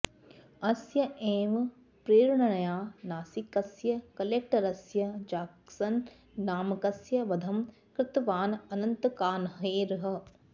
अस्य एव प्रेरणया नासिकस्य कलेक्टरस्य जाक्सन् नामकस्य वधं कृतवान् अनन्तकान्हेरः